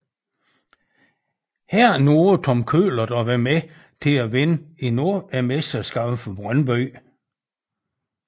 Her nåede Tom Køhlert at være med til at vinde endnu et mesterskab for Brøndby